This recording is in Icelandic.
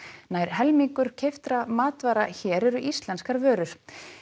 nær helmingur keyptra matvara hér eru íslenskar vörur